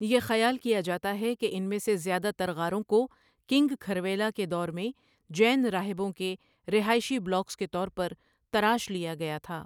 یہ خیال کیا جاتا ہے کہ ان میں سے زیادہ تر غاروں کو کنگ کھرویلا کے دور میں جین راہبوں کے رہائشی بلاکس کے طور پر تراش لیا گیا تھا۔